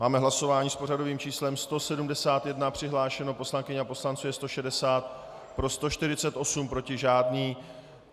Máme hlasování s pořadovým číslem 171, přihlášených poslankyň a poslanců je 160, pro 148, proti žádný.